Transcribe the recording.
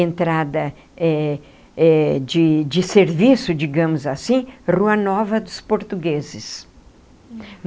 Entrada eh eh de de serviço, digamos assim, Rua Nova dos Portugueses.